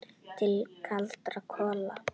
Til kaldra kola.